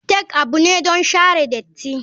Take abu ne don share datti.